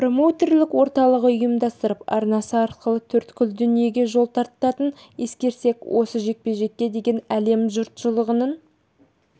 промоутерлік орталығы ұйымдастырып арнасы арқылы төрткүл дүниеге жол тартатынын ескерсек осы жекпе-жекке деген әлем жұртшылығының